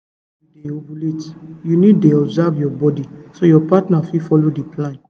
to dey check when you dey ovulate you need dey observe your body so your partner go fit follow the plan